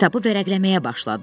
Kitabı vərəqləməyə başladı.